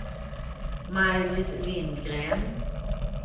Maj-Britt Lindgren